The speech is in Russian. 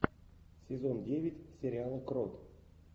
сезон девять сериала крот